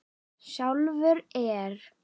Sjálfur er